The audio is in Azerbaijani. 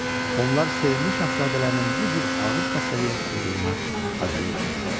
Onlar sevimli Şahzadələrinin bu cür ağır xəstəliyə tutulduğuna acıyırdılar.